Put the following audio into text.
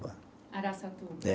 Araçatuba. É.